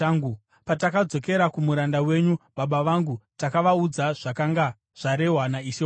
Patakadzokera kumuranda wenyu, baba vangu, takavaudza zvakanga zvarehwa naishe wangu.